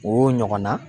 O ɲɔgɔnna